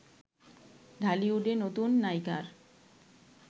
ঢালিউডে নতুন নায়িকার